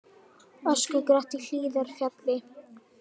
Öskugrátt í Hlíðarfjalli